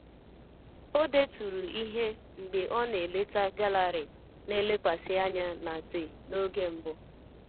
O deturu ihe mgbe ọ na-eleta gallery na-elekwasị anya na te n'oge mbụ